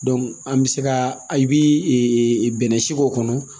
an bɛ se ka i bi bɛnɛ si k'o kɔnɔ